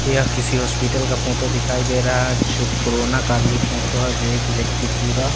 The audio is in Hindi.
यह किसी हॉस्पिटल का फोटो दिखाई दे रहा है जो कोरोना काल की फोटो है जो एक व्यक्ति पूरा--